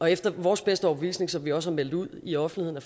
efter vores bedste overbevisning som vi også har meldt ud i offentligheden